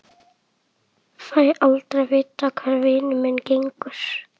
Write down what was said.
Fæ aldrei að vita hvar vinur minn gengur.